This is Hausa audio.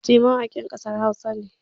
Nomis gee mawakin kasar Hausa ne